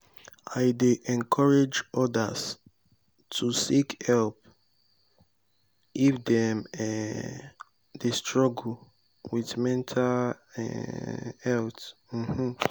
i dey encourage others to seek help if dem um dey struggle with mental um health. um